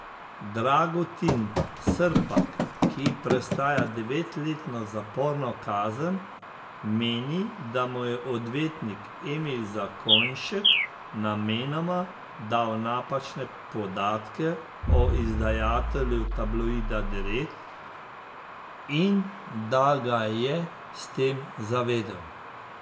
Dragutin Srpak, ki prestaja devetletno zaporno kazen, meni, da mu je odvetnik Emil Zakonjšek namenoma dal napačne podatke o izdajatelju tabloida Direkt in da ga je s tem zavedel.